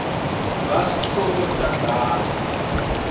vasco da gama